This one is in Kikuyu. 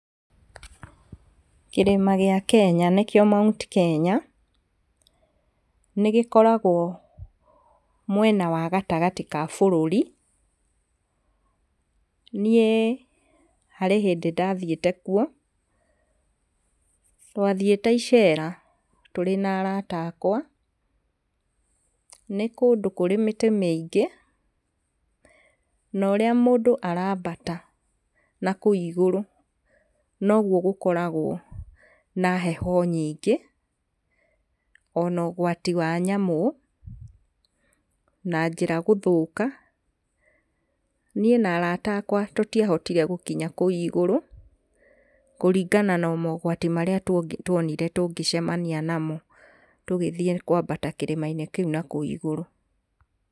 Kĩrĩma gĩa Kenya nĩkio Mount Kenya nĩ gĩkoragwo mwena wa gatagatĩ wa bũrũri. Niĩ harĩ hĩndĩ ndathiĩte kuo, twathiĩte icera tũrĩ na arata akwa nĩ kũndũ kũrĩ mĩtĩ mĩingĩ no ũrĩa mũndũ arabata nakũu igũrũ noguo gũkoragwo na hehe nyingĩ ona ũgwati wa nyamũ na njĩra gũthũka. Niĩ na arata akwa tũtiahotire gũkinya kũu igũrũ kũrigana na mogwati marĩa tuonire tũngĩcemania namo tũgĩthiĩ kwambata kĩrĩmainĩ kĩu nakũu igũrũ.